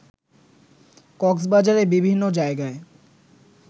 কক্সবাজারের বিভিন্ন জায়গায়